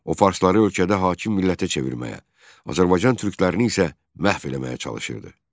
O farsları ölkədə hakim millətə çevirməyə, Azərbaycan türklərini isə məhv eləməyə çalışırdı.